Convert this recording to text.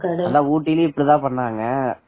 ஆமா ஊட்டியில் இப்படித்தான் பண்ணாங்க